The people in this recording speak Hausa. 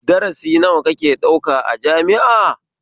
Darasi nawa kake ɗauka a jami'a?